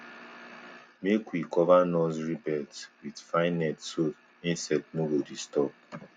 make we cover nursery beds with fine nets so insect no go disturb